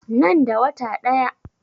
Nan da wata ɗaya.